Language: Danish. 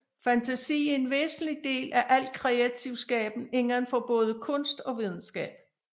Fantasi er en væsentlig del af al kreativ skaben indenfor både kunst og videnskab